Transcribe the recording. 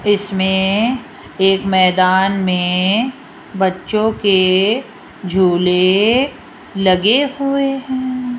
इसमें एक मैदान में बच्चों के झूले लगे हुए हैं।